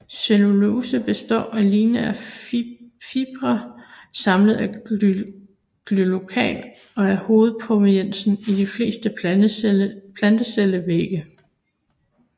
Cellulose består af lineære fibriller samlet af glucan og er hovedpolymeren i de fleste plantecellevægge